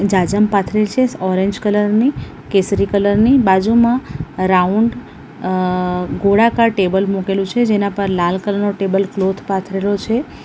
જાજમ પાથરેલી છે orange colour ની કેસરી કલરની બાજુમાં રાઉન્ડ અહ ગોળાકાર ટેબલ મૂકેલું છે જેના પર લાલ કલર નો ટેબલ ક્લોથ પાથરેલો છે.